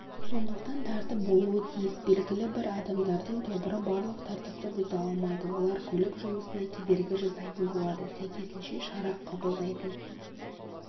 сондықтан тәртіп болуы тиіс белгілі бір адамдардың тобыры барлық тәртіпті бұза алмайды олар көлік жұмысына кедергі жасайтын болады сәйкесінше шара қабылдайтын